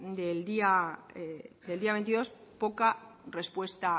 del día veintidós poca respuesta